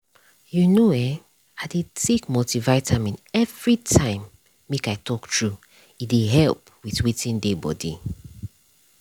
you know eh i dey take multivitamin everytime make i talk true e dey help with with dey body.